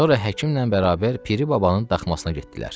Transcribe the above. Sonra həkimlə bərabər Piri Babanın daxmasına getdilər.